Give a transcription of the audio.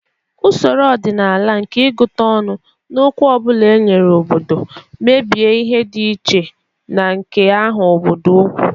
Usoro ọdịnala nke ịgụta ọnụ, n'okwu ọ bụla e nyere obodo, mebie ihe dị iche na nke ahụ obodo okwu